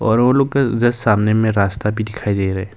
और वो लोग के जस्ट सामने में रास्ता भी दिखाई दे रहा--